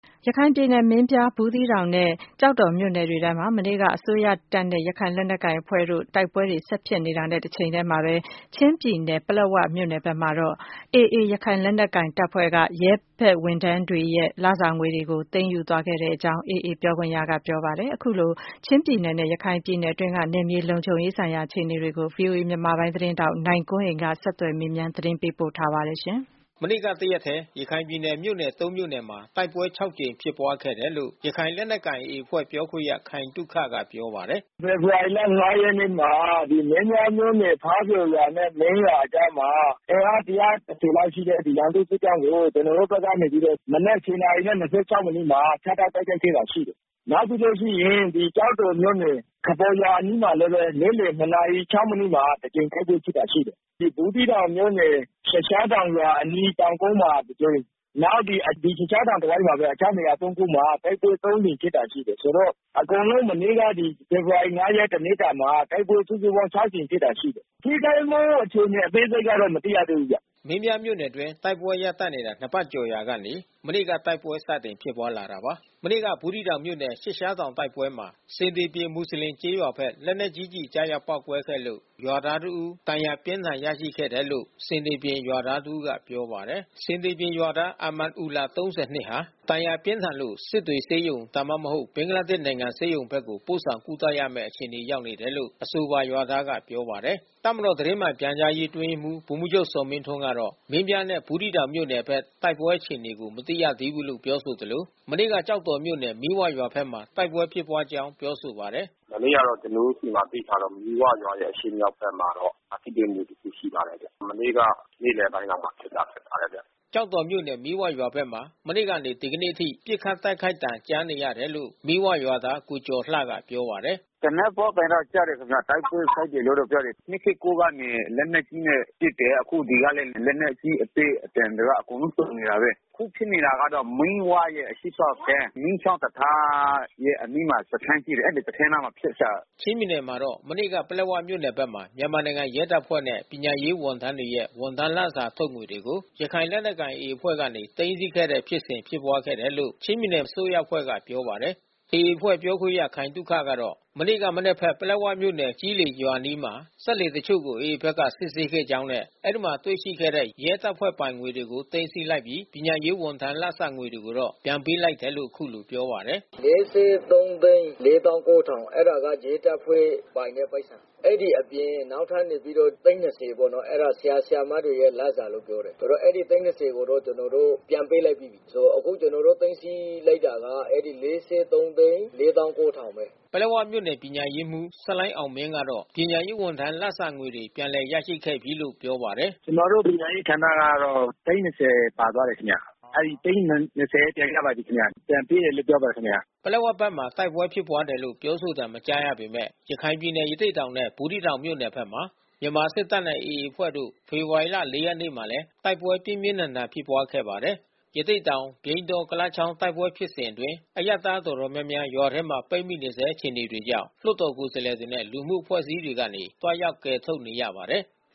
ရခိုင်ပြည်နယ် မင်းပြား၊ ဘူးသီးတောင်နဲ့ကျောက်တော်မြို့နယ်တွေ ထဲမှာ မနေ့က မြန်မာစစ်တပ်နဲ့ ရခိုင်လက်နက် ကိုင် AAအဖွဲ့ တို့ တိုက်ပွဲတွေ ဆက်လက်ဖြစ်ပွားနေပါတယ်။ တချိန်ထဲ မှာပဲ ချင်းပြည်နယ် ပလက်ဝမြို့နယ် ဘက်မှာ တော့ AA ရခိုင်လက်နက်ကိုင် တပ်ဖွဲ့က ရဲဝန်ထမ်းတွေရဲ့လစာငွေတွေ ကို သိမ်းယူခဲ့တာပါ။ ရခိုင်နဲ့ ချင်းပြည်နယ် အတွင်း နောက်ဆုံး အခြေအနေတွေကို ဗွီအိုအေမြန်မာပိုင်းသတင်း ထောက် နိုင်ကွန်းအိန်က နေ ဆက်သွယ်မေးမြန်း သတင်းပေးပို့ထားပါတယ်။ မနေ့ကတရက်ထဲ ရခိုင်ပြည်နယ်မြို့နယ် မြို့နယ်မှာတိုက်ပွဲ ကြိမ်ဖြစ်ပွားခဲ့တယ်လို့ ရခိုင်လက်နက်ကိုင် AA ပြောခွင့်ရ ခိုင်သုခ ကပြောပါတယ်။ “ဖေဖေါ်ဝါရီလ ရက်နေ့မှာ မင်းပြားမြို့နယ်၊ ဖားပျော်ရွာနဲ့ မင်းရွာအကြားမှာ အင်မား ကျော်လောက်ရှိတဲ့ ရန် သူ့စစ်ကြောင်းကို ကျွန်တော်တို့ဖက်ကနေပြီးတော့ မနက် နာရီနဲ့ မိနစ်မှာ ဖြတ်တောက်တိုက်ခိုက် ခဲ့တာ ရှိတယ်။ နောက်ပြီးလို့ရှိရင် ကျောက်တော်မြို့နယ် ခပေါ်ရွာအနီးမှာလဲဘဲ နေ့လယ် နာရီ မိနစ်မှာ တကြိမ် တိုက်ပွဲဖြစ်တာရှိတယ်။ ဘူးသီးတောင်မြို့နယ် သျှစ်ရှားတောင်ရွာအနီးတောင်ကုန်းမှာတကြိမ် နောက်ဒီ သျှစ်ရှား တောင်တဝိုက်မှာဘဲ တခြားနေရာ ခုမှာ တိုက်ပွဲ ကြိမ်ဖြစ်တာရှိတယ်။ ဆိုတော့ အကုန်လုံးမနေ့က ဒီ ဖေဖေါ် ဝါရိလ ရက်တနေ့တာမှာ တိုက်ပွဲစုစုပေါင်း ကြိမ်ဖြစ်တာရှိတယ်။ ထိခိုက်မှုအခြေအနေအသေးစိတ် ကတော့ မသိရသေးဘူးဗျ။” မင်းပြားမြို့နယ်အတွင်းတိုက်ပွဲရပ်တန့်နေတာ ပတ်ကျော်ရာကနေ မနေ့ကတိုက်ပွဲ စတင်ဖြစ်ပွါးလာတာပါ။ မနေ့က ဘူးသီးတောင်မြို့နယ် သျှစ်ရှားတောင်တိုက်ပွဲမှာ ဆင်သေပြင်မူဆလင်ကျေးရွာဘက် လက်နက်ကြီးကျည် ကျရောက်ပေါက်ကွဲခဲ့လို့ ရွာသားတဦးဒဏ်ရာပြင်းထန်ရရှိခဲ့တယ်လို့ ဆင်သေပြင်ရွာသားတဦးကပြောပါတယ်။ ဆင်သေပြင်ရွာသား အာမာန်အူလာ နှစ်ဟာ ဒဏ်ရာပြင်းထန်လို့ စစ်တွေဆေးရုံဒါမှမဟုတ် ဘင်္ဂလားဒေ့ရ်နိုင်ငံ ဆေးရုံဘက်ကို ပို့ဆောင်ကုသ ရမဲ့အခြေအနေရောက်နေတယ် လို့အဆိုပါ ရွာသားကပြောပါတယ်။ တပ်မတော်သတင်းမှန်ပြန်ကြားရေးအတွင်းရေးမှူးဗိုလ်မှူးချုပ်ဇော်မင်းထွန်းကတော့ မင်းပြားနဲ့ဘူးသီးတောင် မြို့ နယ်ဖက် တိုက်ပွဲအခြေအနေကိုမသိရသေးဘူးပြောဆိုသလို မနေ့ကကျောက်တော်မြို့နယ် မီးဝရွာဘက်မှာတိုက် ပွဲဖြစ်ပွားကြောင်းပြောဆိုပါတယ်။ “ကျွန်တော်တော့ အဲတာမသိသးဘူးဗျာ။ မနေ့ကတော့ကျွန်တော်တို့ဆီမှာသိထားတာ မီးဝရွာရဲ့အရှေ့မြောက် ဖက်မှာတော့ ထိတွေ့မှုတခုရှိပါတယ်ဗျ။ မနေ့ကနေ့လယ်ပိုင်းလောက် မှာဖြစ်တာဖြစ်ပါတယ်ဗျ။” ကျောက်တော်မြို့နယ်မီးဝရွာဘက်မှာ မနေ့ကနေ ဒီကနေ့အထိ ပစ်ခတ်တိုက်ခိုက်သံ ကြားနေရတယ်လို့ မီးဝရွာ သားကိုကျော်လှကပြောပါတယ်။ “ သေနတ်ပေါက်သံတော့ကြားတယ်ခင်ဗျ။ တိုက်ပွဲပေါက်တယ်လို့တော့ပြောတယ်။ ကနေလက်နက်ကြီးနဲ့ ပစ်တယ်။ အခုဒီကလည်း လက်နက်အကြီးအသေး အသံတွေကအကုန်လုံးစုံနေတာဘဲ။ အခုဖြစ်နေတာကမီးဝရဲ့ အရှေ့ ဖက်ကမ်း မီးချောင်းတံတား ရဲ့အနီးမှာ စခန်းရှိတယ်။ အဲဒီစခန်းအနားမှာဖြစ်တာ။” ချင်းပြည်နယ်မှာ တော့ မနေ့က ပလက်ဝမြို့နယ်ဖက်မှာ မြန်မာနိုင်ငံရဲတပ်ဖွဲ့နဲ့ ပညာရေးဝန်ထမ်းတွေရဲ့ ဝန်ထမ်းလစာ ထုတ်ငွေတွေကို ရခိုင်လက်နက်ကိုင် AAအဖွဲ့ကနေ သိမ်းဆီးခဲ့တဲ့ဖြစ်စဉ်ဖြစ်ပွားခဲ့တယ်လို့ ချင်းပြည်နယ်အစိုးရအဖွဲ့ ကပြောပါတယ်။ AA အဖွဲ့ ပြောခွင့်ရ ခိုင်သုခကတော့ မနေ့က မနက်ဘက် ပလက်ဝမြို့နယ် ကျီးလေရွာ အနားမှာ စက်လှေတချို့ကို AA ဖက်က စစ်ဆေးခဲ့ကြောင်းနဲ့ အဲဒီမှာ တွေ့ရှိခဲ့တဲ့ ရဲတပ်ဖွဲ့ ပိုင်ငွေတွေကို သိမ်းဆီး လိုက်ပြီး ပညာရေးဝန်ထမ်း လစာငွေတွေ ကိုတော့ပြန်ပေးလိုက်တယ်လို့ အခုလိုပြော ပါတယ်။ “၄၃၄၉၀၀၀ အဲတာ ရဲတပ်ဖွဲ့ပိုင်တဲ့ပိုက်ဆံ။ အဲဒီအပြင်နောက်ထပ်နေပြီးတော့ သိန်း ပေါ့နော်။ အဲတာ ဆရာ ဆရာမတွေရဲ့လစာလို့ပြောတယ်။ အဲဒီသိန်း ကိုတော့ ကျွန်တော်တို့ ပြန်ပေး လိုက်ပြီး။ အခုကျွန်တော်တို့ သိမ်းဆီးလိုက်တာက လေးဆယ့်သုံးသိန်း လေးသောင်းကိုးထောင်ဘဲ။” ပလက်ဝမြို့နယ် ပညာရေးမှူး ဆလိုင်းအောင်မင်းကတော့ ပညာရေးဝန်ထမ်း လစာငွေတွေ ုပြန်လည် ရရှိခဲ့ပြီးလို့ ပြောပါတယ်။ “ဒီနေ့နေ့လယ် နာရီမှာအားလုံးပြန်ရပါပြီခင်ဗျ။ ကျွန်တော်တို့ပညာရေးဌာနကတော့ သိန်း ပါသွားတယ် ခင်ဗျ။ အဲဒီသိန်း ပြန်ရပါပြီးခင်ဗျ။ ပြန်ပေးတယ် လို့ပြောပါတယ် ခင်ဗျ။” ပလက်ဝ ဘက်မှာ တိုက်ပွဲ ဖြစ်ပွားတယ်လို့ ပြောဆိုသံ မကြားရပေမယ့် ရခိုင်ပြည်နယ် ရသေ့တောင်နဲ့ ဘူးသီး တောင်မြို့နယ်ဖက်မှာ မြန်မာစစ်တပ်နဲ့AA အဖွဲ့တို့ ဖေဖေါ်ဝါရီ ရက်နေ့မှာလဲ တိုက်ပွဲပြင်းပြင်း ထန်ထန်ဖြစ် ပွါး ခဲ့ပါတယ်။ ရသေ့တောင်ပြိန်းတော ကုလားချောင်း တိုက်ပွဲဖြစ်စဉ်အတွင်း အရပ်သားတော်တော်များများ ရွာထဲပိတ်မိ နေဆဲ အခြေအနေကြောင့် လွှတ်တော်ကိုယ်စားလှယ်တွေနဲ့ လူမှုအဖွဲ့အစည်းတွေ ကနေ သွားရောက် ကယ်ထုတ် နေရ ပါတယ်။